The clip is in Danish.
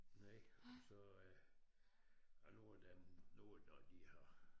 Nej så øh nu er den nu når de har